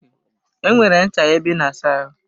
I nwere ncha ebe I na asa ahụ?